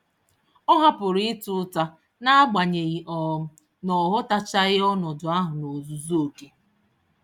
Ọ hapụrụ ịta ụta, naagbanyeghi um na ọghọtachaghi ọnọdụ ahụ n'ozuzu oké